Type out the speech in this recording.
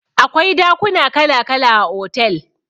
Akwai dakuna kala kala a otel